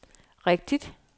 rigtigt